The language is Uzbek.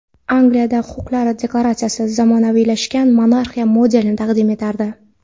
Angliyadagi Huquqlar deklaratsiyasi zamonaviylashgan monarxiya modelini taqdim etardi.